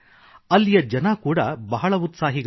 ಅಲ್ಲಿಯ ಜನ ಕೂಡಾ ಬಹಳ ಉತ್ಸಾಹಿಗಳು